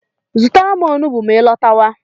Zụtara m onugbu ma I lọtawa